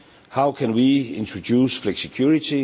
How can we introduce flexicurity?